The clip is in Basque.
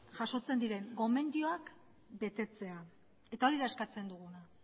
jasotzen diren gomendioak betetzea eta hori da eskatzen duguna